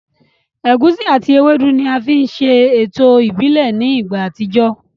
Ẹ̀gusi àti ewédú ni a fi ń ṣe ètò ìbílẹ̀ ní ìgbà àtijọ́